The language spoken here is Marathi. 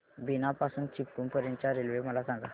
बीना पासून चिपळूण पर्यंत च्या रेल्वे मला सांगा